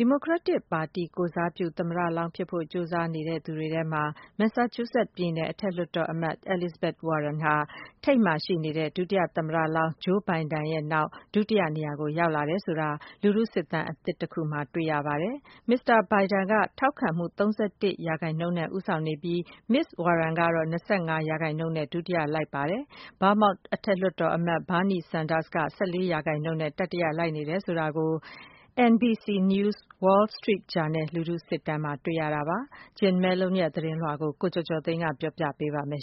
ဒီမိုကရက်တစ်ပါတီကိုယ်စားပြု သမ္မလောင်းဖြစ်ဖို့ ကြိုးစားနေသူတွေထဲမှာ မက်ဆက်ချူးဆက် ပြည်နယ် အထက်လွှတ်တော်အမတ် Elizabeth Warren ဟာ ထိပ်မှာရှိနေတဲ့ ဒုသမ္မတဟောင်း Joe Biden နောက် ဒုတိယနေရာကို ရောက်လာတယ်ဆိုတာ လူထုစစ်တမ်းအသစ်တခုမှာ တွေ့ရပါတယ်။ မစ္စတာ Biden က ထောက်ခံမှု ၃၁% နဲ့ ဦးဆောင်နေပြီး မစ္စစ် Warren က ၂၅% နဲ့ ဒုတိယ လိုက်နေပြီးတော့ Vermont အထက်လွှတ်တော်အမတ် Bernie Sanders က ၁၄% နဲ့ တတိယလိုက်နေတယ်ဆိုတာ NBC News-Wall Street Journal လူထုစစ်တမ်းမှာ တွေ့ရပါတယ်။ Jim Malone ရဲ့ သတင်းလွှာ ကို ကိုကျော်ကျော်သိန်းက ပြောပြပါမယ်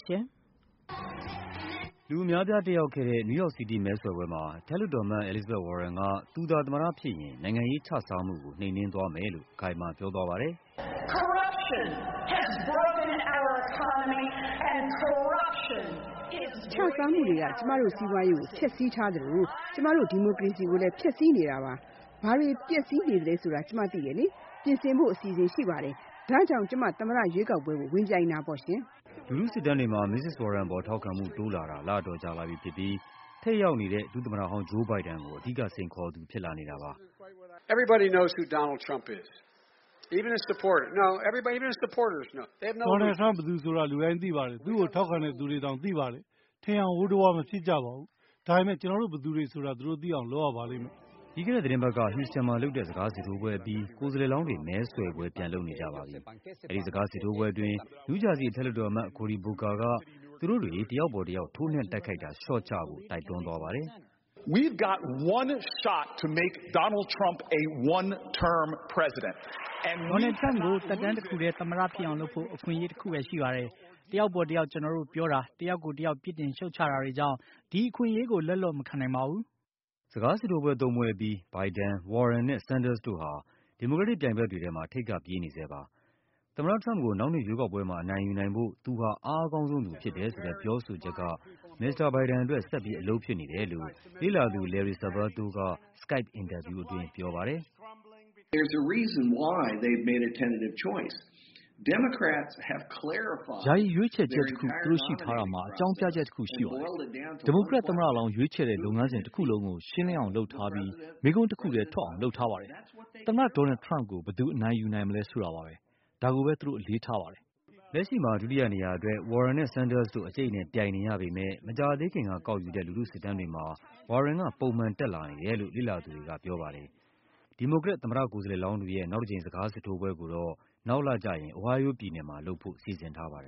။ လူအများအပြားတက်ရောက်ခဲ့တဲ့ New York City မဲဆွယ်ပွဲမှာ အထက်လွှတ်တော်အမတ် Elizabeth Warren က သူသာ သမ္မတဖြစ်ရင် နိုင်ငံရေးခြစားမှုကို နှိမ်နင်းသွားမယ်လို့ အခိုင်အမာ ပြောသွားပါတယ်။ “ခြစားမှုက ကျမတို့စီးပွားရေးကို ဖျက်ဆီးထား သလို ကျမတို့ ဒီမိုကရေစီကိုလည်း ဖျက်ဆီးနေပါတယ်။ ဘာပျက်ဆီးနေတယ်ဆိုတာ ကျမသိပါတယ်၊ ပြင်ဆင်ဖို့ အစီအစဉ်ရှိပါ တယ်၊ ဒါကြောင့် ကျမ သမ္မတရွေးကောက်ပွဲ ဝင်တာပါ။” လူထုစစ်တမ်းတွေမှာ မစ္စစ် Warren ပေါ်ထောက်ခံမှု တိုးလာတာ လအတော်ကြာလာပြီဖြစ်ပြီး ထိပ်ရောက်နေတဲ့ ဒုသမ္မတ ဟောင်း Joe Biden ကို အဓိကစိန်ခေါ်သူဖြစ်လာနေတာပါ။ “Donald Trump ဘယ်သူဆိုတာ လူတိုင်းသိပါတယ်၊ သူ့ကို ထောက်ခံသူတွေတောင် သိပါတယ်၊ ထင်ယောင်ဝိုးတဝါး မဖြစ်ကြပါဘူး။ ဒါပေမယ့် ကျနော်တို့ ဘယ်သူတွေဆိုတာ သူတို့ သိအောင်လုပ်ရပါမယ်။” ပြီးခဲ့တဲ့သီတင်းပတ်က Houston မှာလုပ်တဲ့ စကားစစ်ထိုးပွဲအပြီး ကိုယ်စားလှယ်လောင်းတွေ မဲဆွယ်ပွဲ ပြန်လုပ်နေကြပါပြီ။ အဲဒီ စကားစစ်ထိုးပွဲအတွင်း New Jersey အထက်လွှတ်တော်အမတ် Cory Booker က သူတို့တွေ တယောက်ပေါ်တယောက် ထိုးနှက်တိုက်ခိုက်တာ လျှော့ကြဖို့ တိုက်တွန်းသွားပါတယ်။ “Donald Trump ကို သက်တမ်းတခုတည်း သမ္မတ ဖြစ်အောင်လုပ်ဖို့ အခွင့်အရေးတခုပဲ ရှိပါတယ်။ တယောက်ပေါ်တယောက် ကျနော်တို့ပြောတာ၊ တယောက်ကိုတယောက် ပြစ်တင်ရှုတ်ချတာတွေကြောင့် ဒီအခွင့်အရေးကို လက်လွတ်မခံနိုင်ပါဘူး။” စကားစစ်ထိုးပွဲသုံးပွဲအပြီး Biden, Warren နဲ့ Sanders တို့ဟာ ဒီမိုကရက်တစ် ပြိုင်ဘက်တွေထဲမှာ ထိပ်ကပြေးနေဆဲပါ။ သမ္မတ ထရမ့်ကို နောက်နှစ်ရွေးကောက်ပွဲမှာ အနိုင်ယူနိုင်ဖို့ သူဟာ အားအကောင်းဆုံးသူဖြစ်တယ်ဆိုတဲ့ ပြောဆိုချက်ဟာ မစ္စတာ Biden အတွက် ဆက်ပြီး အလုပ်ဖြစ်နေတယ်လို့ လေ့လာသူ Larry Sabato က Skype အင်တာဗျူးအတွင်း ပြောပါတယ်။ “ယာယီရွေးချယ်ချက်တခု သူတို့ရှိထားတာမှာ အကြောင်းပြချက်တခု ရှိပါ တယ်။ ဒီမိုကရက်သမ္မတလောင်း ရွေးချယ်တဲ့လုပ်ငန်းစဉ်တခုလုံးကို ရှင်းလင်းအောင်လုပ်ထားပြီး မေးခွန်းတခုထဲထွက်အောင် လုပ်ထားပါတယ်၊ သမ္မတ Donald Trump ကို ဘယ်သူအနိုင်ယူနိုင်မလဲဆိုတာပါ၊ ဒါကိုပဲ သူတို့အလေးထားပါတယ်။” လက်ရှိမှာ ဒုတိယနေရာအတွက် Warren နဲ့ Sanders တို့ အကျိတ်အနယ်ပြိုင်နေရပေမယ့် မကြာသေးခင်ကကောက်ယူူတဲ့ လူထုစစ်တမ်းတွေမှာ Warren က ပုံမှန်တက်လာနေတယ်လို့ လေ့လာသူတွေက ပြောပါတယ်။ ဒီမိုကရက် သမ္မတကိုယ်စားလှယ်လောင်းတွေရဲ့ နောက်တကြိမ် စကားစစ်ထိုးပွဲကိုတော့ နောက်လကျရင် Ohio ပြည်နယ်မှာ လုပ်ဖို့စီစဉ်ထားပါတယ်